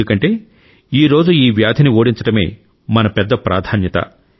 ఎందుకంటే ఈ రోజు ఈ వ్యాధిని ఓడించడమే మన పెద్ద ప్రాధాన్యత